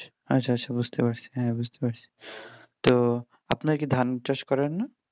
আচ্ছা আচ্ছা বুঝতে পারছি হ্যাঁ বুঝতে পারছি তো আপনারা কি ধান চাষ করেন না?